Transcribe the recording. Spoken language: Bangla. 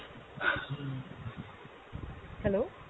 hello!